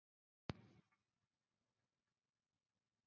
Þórhildur: Þetta er bara stuð?